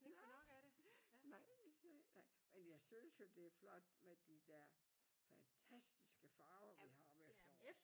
Ja nej nej nej men jo synes jo det er flot med de der fantastiske farver vi har om efteråret